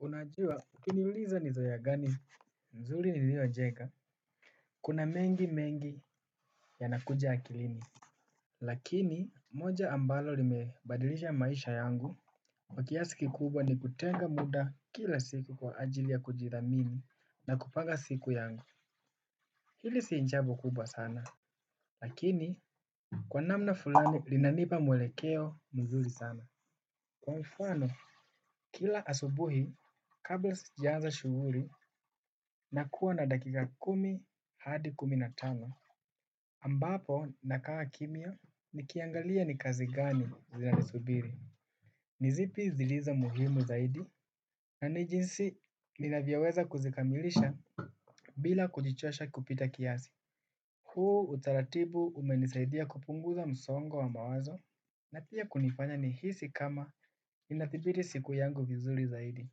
Unajua, ukiniuliza ni zoea gani nzuri nililojenga, kuna mengi mengi yanakuja akilini. Lakini, moja ambalo limebadilisha maisha yangu, kwa kiasi kikubwa ni kutenga muda kila siku kwa ajili ya kujithamini na kupanga siku yangu. Hili si jambo kubwa sana, lakini kwa namna fulani linanipa mwelekeo mzuri sana. Kwa mfano, kila asubuhi, kabla sijaanza shughuli nakuwa na dakika kumi hadi kumi na tano. Ambapo nakaa kimya nikiangalia ni oazi gani zinanisubiri. Ni zipi zilizo muhimu zaidi na ni jinsi ninavyoweza kuzikamilisha bila kujichosha kupita kiasi. Hu utaratibu umenisaidia kupunguza msongo wa mawazo. Na pia kunifanya nihisi kama inathibiti siku yangu vizuri zaidi.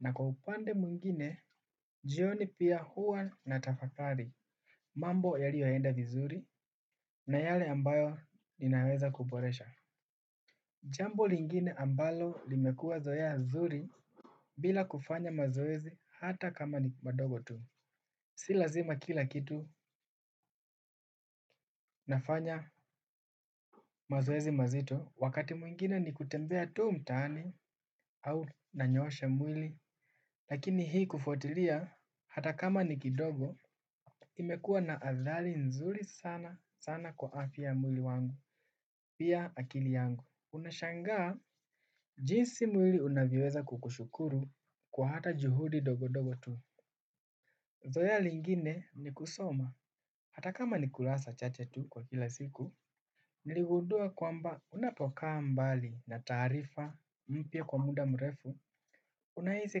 Na kwa upande mwingine, jioni pia huwa natafakari. Mambo yaliyoenda vizuri na yale ambayo ninaweza kuboresha. Jambo lingine ambalo limekuwa zoea zuri bila kufanya mazoezi hata kama ni madogo tu. Si lazima kila kitu nafanya mazoezi mazito wakati mwingine ni kutembea tu mtaani au nanyoosha mwili. Lakini hii kufuatilia hata kama ni kidogo imekuwa na athari nzuri sana sana kwa afya ya mwili wangu, pia akili yangu. Unashangaa, jinsi mwili unavyoweza kukushukuru kwa hata juhudi dogo dogo tu. Zoea lingine ni kusoma, hata kama ni kurasa chache tu kwa kila siku, niligundua kwamba unapokaa mbali na taarifa mpya kwa muda mrefu, unahisi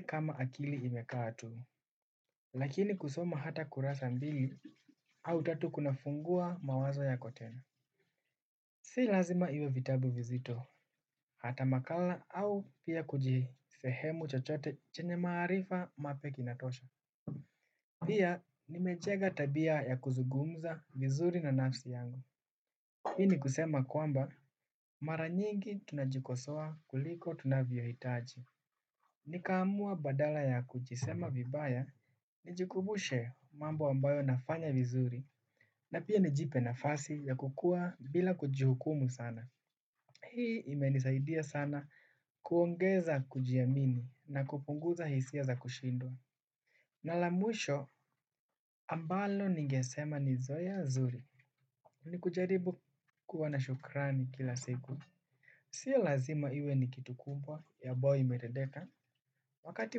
kama akili imekaa tu, lakini kusoma hata kurasa mbili au tatu kuna fungua mawazo yako tena. Si lazima iwe vitabu vizito, hata makala au pia kuji sehemu chochote chenye maarifa mapya kinatosha. Pia nimejenga tabia ya kuzungumza vizuri na nafsi yangu. Hii ni kusema kwamba mara nyingi tunajikosoa kuliko tunavyohitaji nikaamua badala ya kujisema vibaya nijikumbushe mambo ambayo nafanya vizuri na pia nijipe nafasi ya kukuwa bila kujihukumu sana hii imenisaidia sana kuongeza kujiamini na kupunguza hisia za kushindwa. Na la mwisho ambalo ningesema ni zoea zuri ni kujaribu kuwa na shukrani kila siku. Sia lazima iwe ni kitu kubwa ambayo imetendeka. Wakati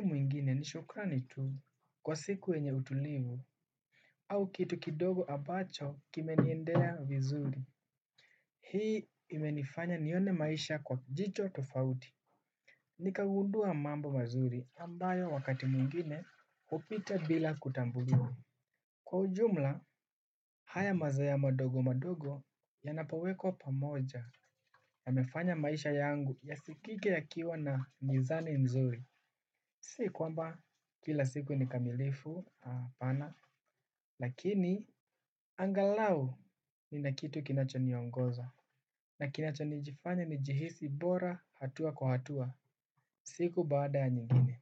mwingine ni shukrani tu kwa siku yenye utulivu au kitu kidogo ambacho kimeniendea vizuri. Hii imenifanya nione maisha kwa jicho tofauti. Nikagundua mambo mazuri ambayo wakati mwingine hupita bila kutambuliwa. Kwa ujumla haya mazoea madogo madogo yanapawekwa pamoja yamefanya maisha yangu yasikike yakiwa na nizani mzuri. Si kwamba kila siku ni kamilifu hapana lakini angalau nina kitu kinacho niongoza na kinacho nijifanye nijihisi bora hatua kwa hatua siku baada ya nyingine.